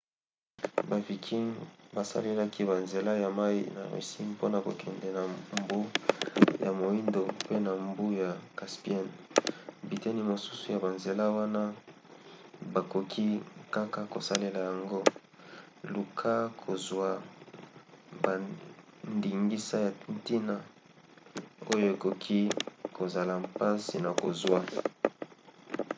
ba vikings basalelaki banzela ya mai ya russie mpona kokende na mbu ya moindo mpe na mbu ya caspienne. biteni mosusu ya banzela wana bakoki kaka kosalela yango. luka kozwa bandingisa ya ntina oyo ekoki kozala mpasi na kozwa